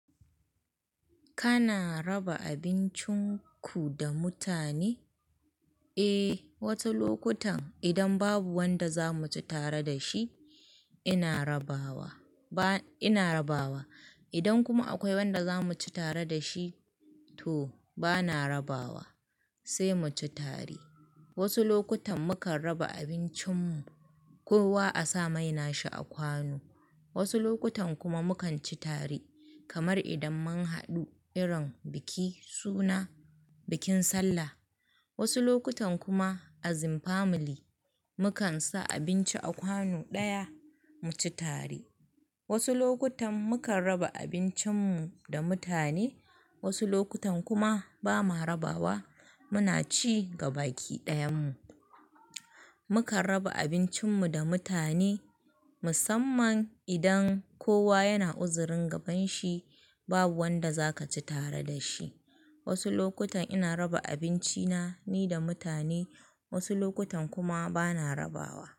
Kana raba abincinku da mutane? Eh, wasu lokutan idan babu wanda za mu ci tare da shi, ina rabawa. Ba, ina rabawa. Idan kuma akwai wanda za mu ci tare da shi to ba na rabawa, sai mu ci tare. Wasu lokutan mu kan raba abincin mu, kowa a sa maina shi a kwano. Wasu lokutan kuma mu kan ci tare, kamar idan mun haɗu irin biki suna bikin sallah. Wasu lokutan kuma asin family mu kan sa abinci a kwano ɗaya mu ci tare. Wasu lokutan mu kan raba abincin mu da mutane, wasu lokutan kuma ba mu rabawa muna ci gabaki ɗayan mu. Mu kan raba abincin mu da mutane musamman idan kowa yana uzurin gaban shi babu wanda zaka ci tare da shi. Wasu lokutan ina raba abinci na ni da mutane, wasu lokutan kuma ba na rabawa.